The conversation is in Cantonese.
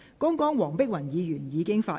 剛才黃碧雲議員已經發言。